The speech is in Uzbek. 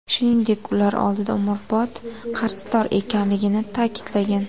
Shuningdek, ular oldida umrbod qarzdor ekanligini ta’kidlagan.